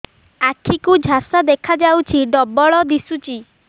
ଆଖି କୁ ଝାପ୍ସା ଦେଖାଯାଉଛି ଡବଳ ଦିଶୁଚି